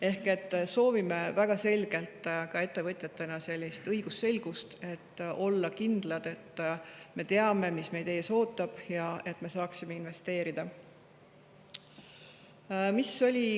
Ehk soovime väga selgelt ka ettevõtjatena õigusselgust, et olla kindlad selles, mis meid ees ootab, et me saaksime investeerida.